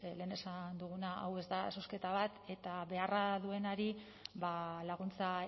lehen esan duguna hau da zozketa bat eta beharra duenari laguntza